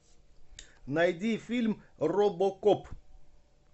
найди фильм робокоп